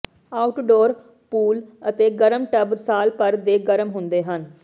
outdoor pool ਅਤੇ ਗਰਮ tub ਸਾਲ ਭਰ ਦੇ ਗਰਮ ਹੁੰਦੇ ਹਨ